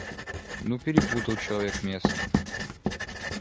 ну перепутал человек место